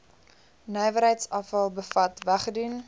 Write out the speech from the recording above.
nywerheidsafval bevat weggedoen